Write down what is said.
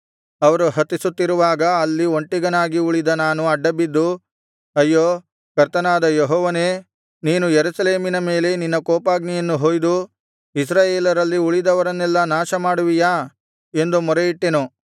ಅವರು ಹತಿಸುತ್ತಿರುವಾಗ ಅಲ್ಲಿ ಒಂಟಿಗನಾಗಿ ಉಳಿದ ನಾನು ಅಡ್ಡಬಿದ್ದು ಅಯ್ಯೋ ಕರ್ತನಾದ ಯೆಹೋವನೇ ನೀನು ಯೆರೂಸಲೇಮಿನ ಮೇಲೆ ನಿನ್ನ ಕೋಪಾಗ್ನಿಯನ್ನು ಹೊಯ್ದು ಇಸ್ರಾಯೇಲರಲ್ಲಿ ಉಳಿದವರನ್ನೆಲ್ಲಾ ನಾಶಮಾಡುವಿಯಾ ಎಂದು ಮೊರೆಯಿಟ್ಟೆನು